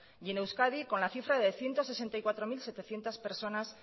y en euskadi con la cifra de ciento sesenta y cuatro mil setecientos personas